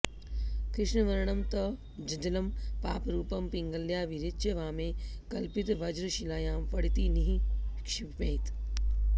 कृष्णवर्णं त ज्जलं पापरूपं पिङ्गलया विरिच्य वामे कल्पितवज्रशिलायां फडिति निःक्षिपेत्